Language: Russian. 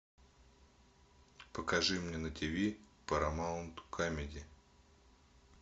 покажи мне на тв парамаунт камеди